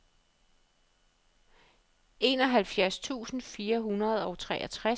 enoghalvfjerds tusind fire hundrede og treogtres